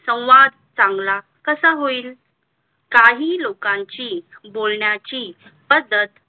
संवाद चांगला कसा होईल. काही लोकांची बोलण्याची पद्धत